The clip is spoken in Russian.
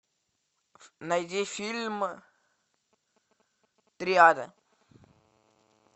найди фильм триада